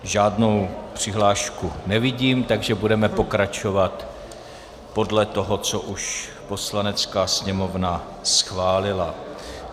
Žádnou přihlášku nevidím, takže budeme pokračovat podle toho, co už Poslanecká sněmovna schválili.